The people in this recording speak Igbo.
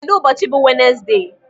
Kedụ ụbọchị bụ Wenesde?